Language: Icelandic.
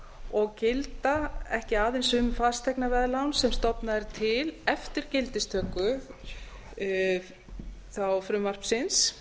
og gilda ekki aðeins um fasteignaveðlán sem stofnað er til eftir gildistöku frumvarpsins